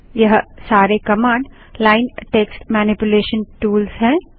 यह सारे command line text manipulation tools हैं